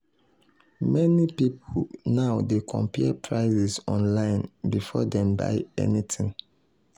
meni pipul now dey compare prices online before dem buy anything.